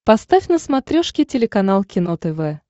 поставь на смотрешке телеканал кино тв